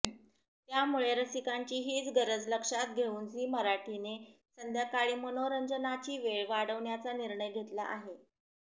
त्यामुळे रसिकांची हीच गरज लक्षात घेऊन झी मराठीने संध्याकाळी मनोरंजनाची वेळ वाढवण्याचा निर्णय घेतला आहे